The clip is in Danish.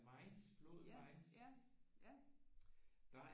Mainz floden Mainz der